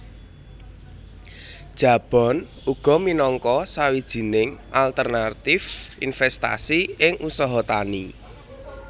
Jabon uga minangka sawijining alternatif investasi ing usaha tani